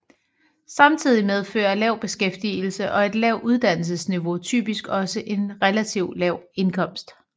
Samtidig medfører lav beskæftigelse og et lavt uddannelsesniveau typisk også en relativt lav indkomst